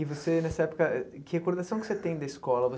E você, nessa época, que recordação que você tem da escola?